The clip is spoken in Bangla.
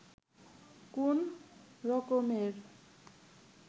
কোন রকমের